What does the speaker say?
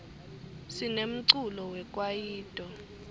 sinemculo we kwayito